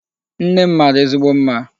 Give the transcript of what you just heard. Nne m mara ezigbo mma.